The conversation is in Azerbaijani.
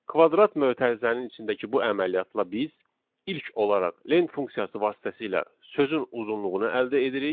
Kvadrat mötərizənin içindəki bu əməliyyatla biz ilk olaraq len funksiyası vasitəsilə sözün uzunluğunu əldə edirik.